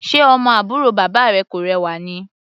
Ṣe ọmọ àbúrò bàbá rẹ kò rẹwà ni?